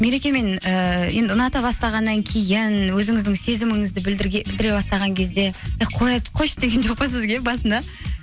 мерекемен ііі енді ұната бастағаннан кейін өзіңіздің сезіміңізді білдіре бастаған кезде і қойшы деген жоқ па сізге басында